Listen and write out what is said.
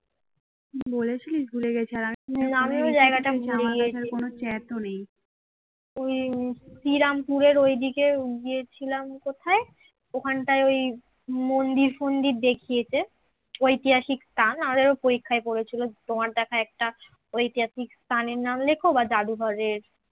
শ্রীরামপুরের ঐদিকে গিয়েছিলাম কোথায় ওখানটায় ওই মন্দির ফন্দির দেখিয়েছে ঐতিহাসিক স্থান আমাদের এরকম পরীক্ষায় পড়েছিল তোমার দেখা একটা ঐতিহাসিক স্থান এর নাম লেখ বা জাদুঘরের